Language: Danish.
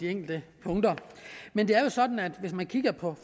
enkelte punkter men det er jo sådan at hvis man kigger på